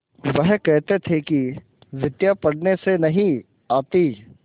वह कहते थे कि विद्या पढ़ने से नहीं आती